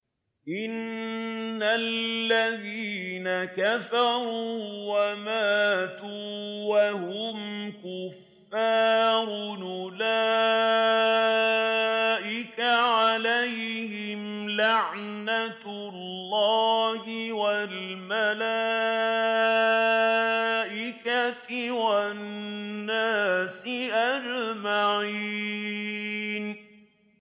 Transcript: إِنَّ الَّذِينَ كَفَرُوا وَمَاتُوا وَهُمْ كُفَّارٌ أُولَٰئِكَ عَلَيْهِمْ لَعْنَةُ اللَّهِ وَالْمَلَائِكَةِ وَالنَّاسِ أَجْمَعِينَ